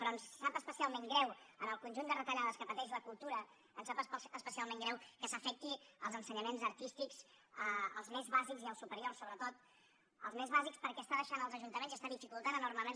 però ens sap especialment greu en el conjunt de retallades que pateix la cultura ens sap especialment greu que s’afecti els ensenyaments artístics els més bàsics i els superiors sobretot els més bàsics perquè està deixant els ajuntaments i està dificultant enormement